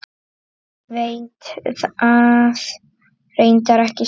Veit það reyndar ekki sjálf.